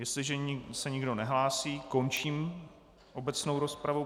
Jestliže se nikdo nehlásí, končím obecnou rozpravu.